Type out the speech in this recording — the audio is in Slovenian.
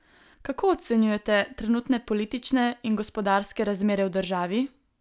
Kako ocenjujete trenutne politične in gospodarske razmere v državi?